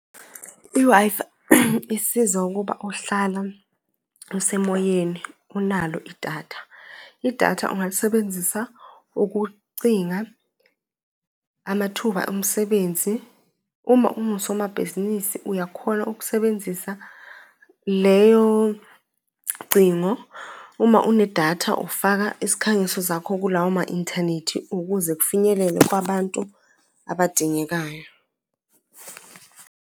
I-Wi-Fi isiza ukuba uhlale usemoyeni unalo idatha. Idatha ungalisebenzisa ukucinga amathuba omsebenzi. Uma ongusomabhizinisi uyakhona ukusebenzisa leyo cingo. Uma unedatha ufaka isikhangiso zakho kulawo ma-inthanethi ukuze kufinyelele kwabantu abadingekayo.